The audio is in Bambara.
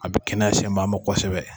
A ka kɛnɛya segin bɛ a mɔn kosɛbɛ.